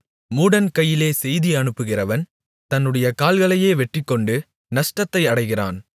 மூடன் கையிலே செய்தி அனுப்புகிறவன் தன்னுடைய கால்களையே வெட்டிக்கொண்டு நஷ்டத்தை அடைகிறான்